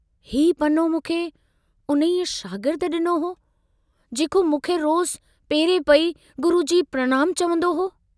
हीउ पनो मूंखे उन्हीअ शागिर्द डिनो हो, जेको मूंखे रोजु पेरे पई " गुरूजी प्रणाम चवन्दो हो।